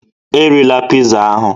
Erila pizza ahụ